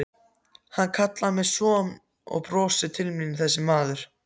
Hann kallar mig son og brosir til mín þessi maður.